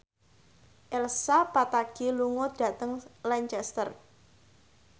Elsa Pataky lunga dhateng Lancaster